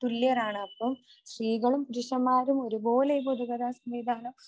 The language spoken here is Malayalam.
തുല്യരാണ്. അപ്പോ സ്ത്രീകളും പുരുഷന്മാരും ഒരുപോലെ ഈ പൊതുഗതാഗത സംവിധാനം